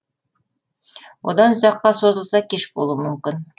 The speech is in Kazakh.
одан ұзаққа созылса кеш болуы мүмкін